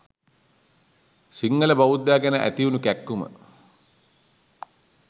සිංහල බෞද්ධයා ගැන ඇතිවුණු කැක්කුම.